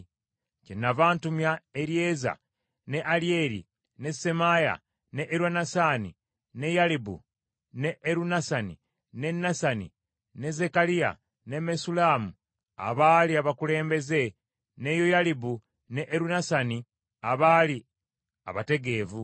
Kyennava ntumya Eryeza ne Alyeri ne Semaaya ne Erunasani ne Yalibu ne Erunasani ne Nasani ne Zekkaliya ne Mesullamu, abaali abakulembeze ne Yoyalibu ne Erunasani, abaali abategeevu,